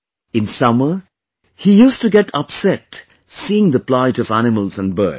In summer, he used to get upset seeing the plight of animals and birds